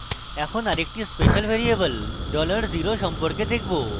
এখন আরেকটি special variable dollar zero সম্পর্কে দেখবো